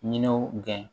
Ɲiniw gɛn